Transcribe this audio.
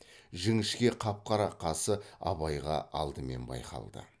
жіңішке қап қара қасы абайға алдымен байқалды